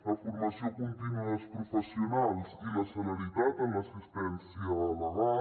la formació contínua dels professionals i la celeritat en l’assistència legal